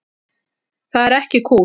Það er ekki kúl.